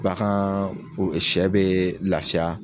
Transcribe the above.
Bagan sɛ bɛ lafiya